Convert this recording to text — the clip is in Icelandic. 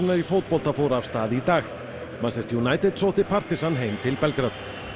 í fótbolta fór af stað í dag manchester United sótti heim til Belgrad